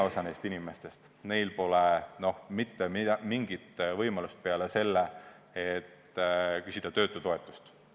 Osal neist inimestest pole mitte mingit võimalust peale selle, et küsida töötutoetust.